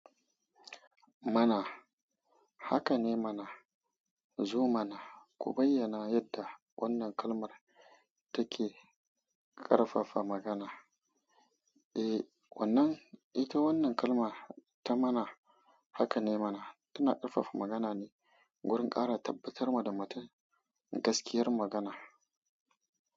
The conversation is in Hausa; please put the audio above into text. Mana haka ne mana. Zo mana ku bayyana yadda wannan kalmar take ƙarfafa magana. Eh wannan, ita wannan kalmar ta mana haka ne mana tana ƙarfafa magana ne wurin ƙara tabbatarwa da matu gaskiyar magana.